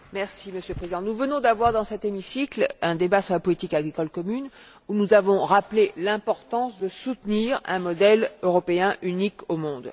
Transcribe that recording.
Monsieur le Président, nous venons d'avoir, dans cet hémicycle, un débat sur la politique agricole commune, où nous avons rappelé l'importance de soutenir un modèle européen unique au monde.